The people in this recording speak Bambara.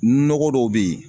Nɔgɔ dɔw bɛ yen